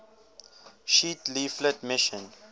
sheet leaflet mission